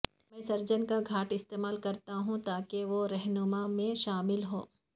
میں سرجن کا گھاٹ استعمال کرتا ہوں تاکہ وہ رہنما میں شامل ہوں